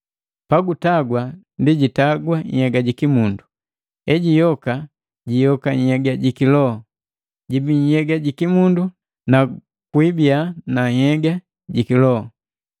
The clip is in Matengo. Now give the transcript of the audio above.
Pagutagwa ndi jitagwa nhyega jiki mundu, ejiyoka, jiyoka nhyega jiki loho. Jibi nhyega jikimundu na kuibiya na nhyega ja loho.